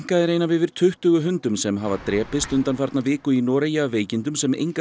er ein af yfir tuttugu hundum sem hafa drepist undanfarna viku í Noregi af veikindum sem engar